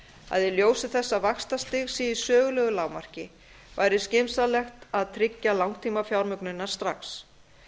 að í ljósi þess að vaxtastig sé í sögulegu lágmarki væri skynsamlegt að tryggja langtímafjármögnunina strax